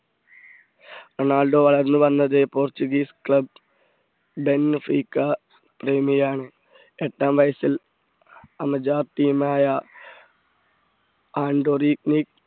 Ronaldo വളർന്നുവന്നത് Portuguese club ടെൻ ഫ്രീക്ക എട്ടാം വയസ്സിൽ അമജാർ team ആയ ആന്റോ റിക്നിക്ക്